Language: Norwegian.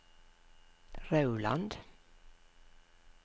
Rauland